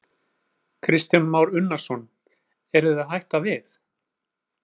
Kristján Már Unnarsson: Eruð þið að hætta við?